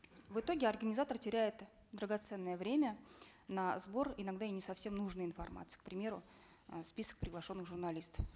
в итоге организатор теряет драгоценное время на сбор иногда и не совсем нужной информации к примеру э список приглашенных журналистов